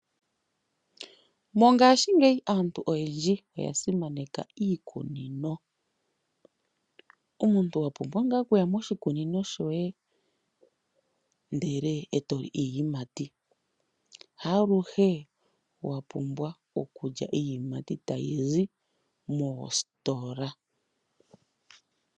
Mongashingeyi aantu oyendji oya simaneka iikunino. Omuntu owa pumbwa ngaa okuya moshikunino shoye ndele eto li iiyimati haaluhe wa pumbwa okulya iiyimati tayi zi moositola.